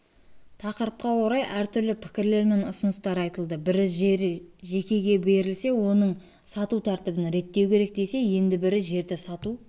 тақырыпқа орай әртүрлі пікірлер мен ұсыныстар айтылды бірі жер жекеге берілсе оның сату тәртібін реттеу керек десе енді бірі жерді сату